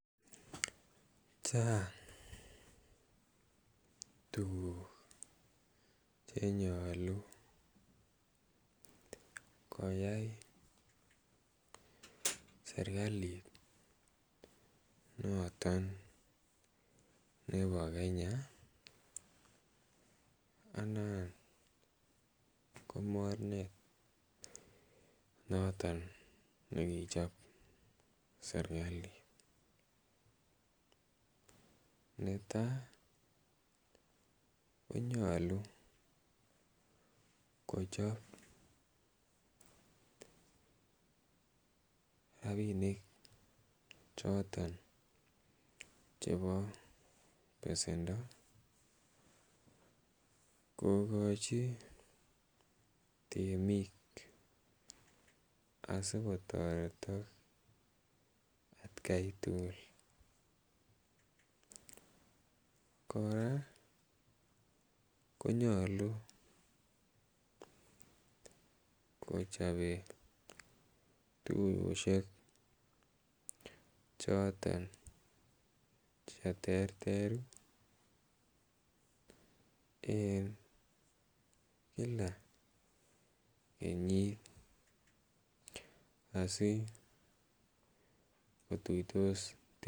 Chang' tukuk che nyolu koyai serikalit noton nebo Kenya anan ko mornet noton ne kichop serikalit. Netai konyolu kochop rapinik choton chepo pesendo kokochi temik asikotaretak atakan tukul. Kora konyolu kochope tuiyoshek choton che terter eng kila kenyit asikotuitos temik.